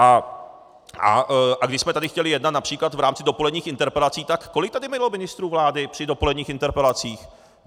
A když jsme tady chtěli jednat například v rámci dopoledních interpelací, tak kolik tady bylo ministrů vlády při dopoledních interpelacích?